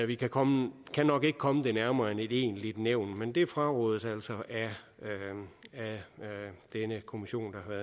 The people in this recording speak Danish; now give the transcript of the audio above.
vi kan komme komme det nærmere end et egentligt nævn men det frarådes altså af denne kommission der